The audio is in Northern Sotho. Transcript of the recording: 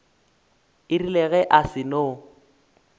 e rile ge a seno